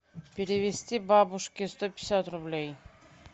перевести бабушке сто пятьдесят рублей